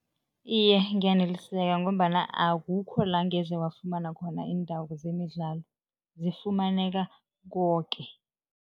Iye, ngiyaneliseka ngombana akukho la ngeze wafumana khona iindawo zemidlalo, zifumaneka koke.